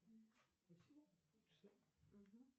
называется валюта в словакии